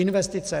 Investice.